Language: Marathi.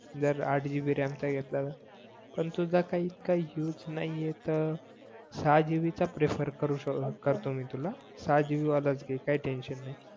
जर आठ जीबी रॅम चा घेतला तर पण तुझं काहीच काही युस नाही आहे तर सहा गिबि चा प्रेफर करू शक करतो मी तुला सहा जीबी वालाचं घे काही टेन्शन नाही